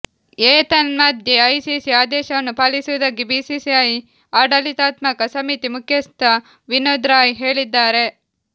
ಏತನ್ಮಧ್ಯೆ ಐಸಿಸಿ ಆದೇಶವನ್ನು ಪಾಲಿಸುವುದಾಗಿ ಬಿಸಿಸಿಐ ಆಡಳಿತಾತ್ಮಕ ಸಮಿತಿ ಮುಖ್ಯಸ್ಥ ವಿನೋದ್ ರಾಯ್ ಹೇಳಿದ್ದಾರೆ